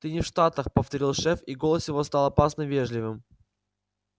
ты не в штатах повторил шеф и голос его стал опасно вежливым